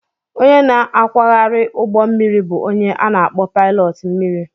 Onye na-akwagharị ụgbọ mmiri bụ onye a na akpo pilot mmiri